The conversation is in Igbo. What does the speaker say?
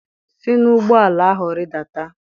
si n'ụgbọ ala ahụ rịdata!